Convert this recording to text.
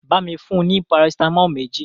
Bámi fún un ní Parasitamọ́ọ̀ méjì!